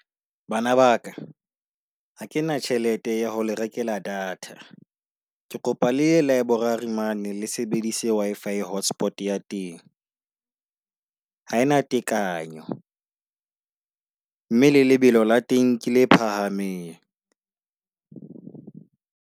Bana ba ka ha kena tjhelete ya ho le rekela data. Ke kopa le ya library mane le sebedise Wi-fi hotspots ya teng. Ha ena tekanyo, mme le lebelo la teng kele phahameng.